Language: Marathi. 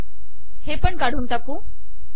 हे पण काढून टाकू